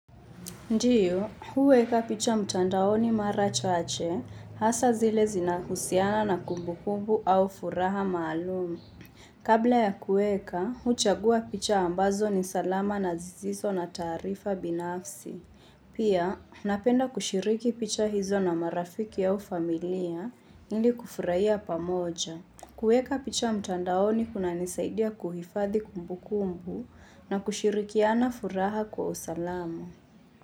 Ndiyo, huweka picha mtandaoni mara chache, hasa zile zinahusiana na kumbukumbu au furaha maalumu. Kabla ya kuweka, huchagua picha ambazo ni salama na zisizo na taharifa binafsi. Pia, napenda kushiriki picha hizo na marafiki au familia, ili kufurahia pamoja. Kuweka picha mtandaoni kunanisaidia kuhifadhi kumbukumbu na kushirikiana furaha kwa usalamu.